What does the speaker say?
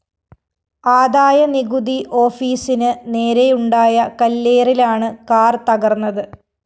ആദായനികുതി ഓഫീസിന് നേരെയുണ്ടായ കല്ലേറിലാണ് കാർ തകര്‍ന്നത്